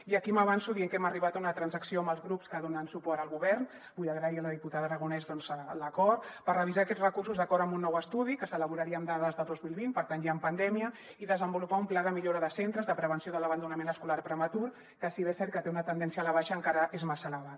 i aquí m’avanço dient que hem arribat a una transacció amb els grups que donen suport al govern vull agrair a la diputada aragonès l’acord per revisar aquests recursos d’acord amb un nou estudi que s’elaboraria amb dades de dos mil vint per tant ja en pandèmia i desenvolupar un pla de millora de centres de prevenció de l’abandonament escolar prematur que si bé és cert que té una tendència a la baixa encara és massa elevat